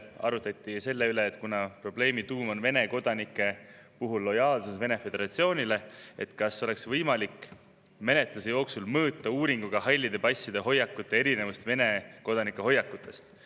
Arutleti selle üle, et kuna probleemi tuum on Vene kodanike puhul nende lojaalsus Venemaa Föderatsioonile, kas siis oleks võimalik menetluse jooksul uuringuga halli passi hoiakute erinevust Vene kodanike hoiakutest.